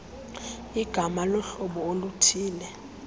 ligama lohlobo oluthille